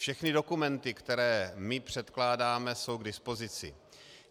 Všechny dokumenty, které my předkládáme, jsou k dispozici.